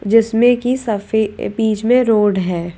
जिसमें कि सफे अ बीच में रोड है।